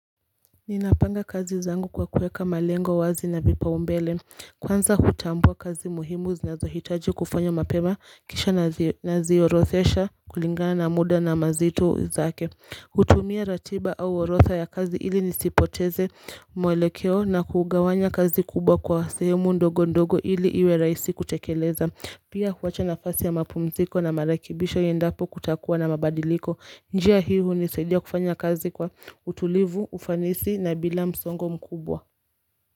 Ninapanga kazi zangu kwa kuweka malengo wazi na vipaumbele. Kwanza hutambua kazi muhimu zinazohitaji kufanywa mapema kisha naziorodhesha kulingana na muda na mazito zake. Hutumia ratiba au orodha ya kazi ili nisipoteze mwelekeo na kugawanya kazi kubwa kwa sehemu ndogo ndogo ili iwe raisi kutekeleza Pia huwacha nafasi ya mapumziko na marekebisho iendapo kutakua na mabadiliko. Njia hii hunisadia kufanya kazi kwa utulivu, ufanisi na bila msongo mkubwa.